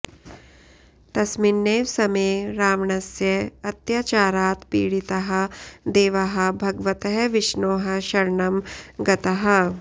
तस्मिन्नेव समये रावणस्य अत्याचारात् पीडिताः देवाः भगवतः विष्णोः शरणं गताः